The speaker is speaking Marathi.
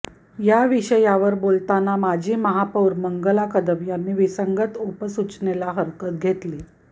या विषयावर बोलताना माजी महापौर मंगला कदम यांनी विसंगत उपसूचनेला हरकत घेतली